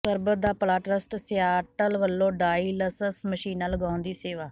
ਸਰਬਤ da Bhala trust Seattle ਵਲੋਂ dialysis ਮਸ਼ੀਨਾਂ ਲਗਾਉਣ ਦੀ ਸੇਵਾ